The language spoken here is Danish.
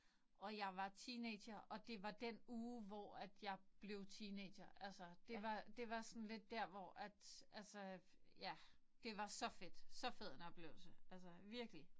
Og jeg var teenager. Og det var den uge hvor at jeg blev teenager altså. Det var det var sådan lidt der hvor at altså ja det var så fedt. Så fed en oplevelse altså virkelig